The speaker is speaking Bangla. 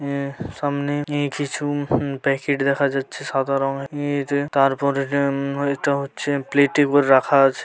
এ এ সামনে কিছু প্যাকেট দেখা যাচ্ছে সাদা রঙেরঊম তারপরে এটা হচ্ছে প্লেট রাখা আছে ।